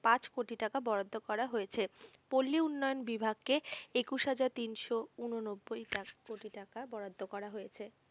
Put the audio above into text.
পাঁচ কোটি টাকা বরাদ্দ করা হয়েছে। পল্লী উন্নয়ন বিভাগ কে একুশ হাজার তিনশো ঊননব্বই কোটি টাকা বরাদ্দ করা হয়েছে।